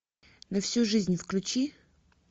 на всю жизнь включи